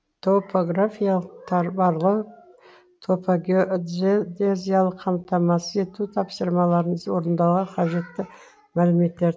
топографиялық барлау топогеодезиялық камтамасыз ету тапсырмаларын орындауға кажетті мәліметтер табу